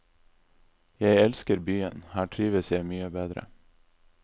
Jeg elsker byen, her trives jeg mye bedre.